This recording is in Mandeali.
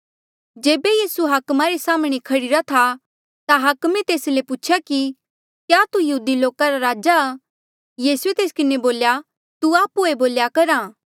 जेबे यीसू हाकमा रे साम्हणें खड़ीरा था ता हाकमे तेस ले पूछेया कि क्या तू यहूदी लोका रा राजा आ यीसूए तेस किन्हें बोल्या तू आप्हुए बोल्या करहा